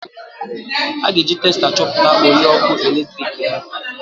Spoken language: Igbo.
A ga-eji testa chọpụta ole ọkụ eletrik ha